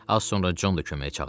Az sonra Con da köməyə çağırıldı.